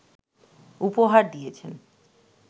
উপহার দিয়েছেন